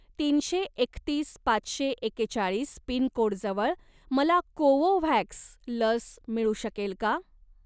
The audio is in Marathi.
तीनशे एकतीस पाचशे एकेचाळीस पिनकोडजवळ मला कोवोव्हॅक्स लस मिळू शकेल का?